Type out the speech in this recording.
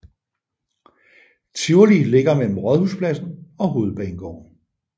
Tivoli ligger mellem Rådhuspladsen og Hovedbanegården